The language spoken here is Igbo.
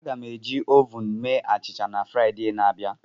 Aga m eji ovun mee achịcha na Fraịde na-abịa.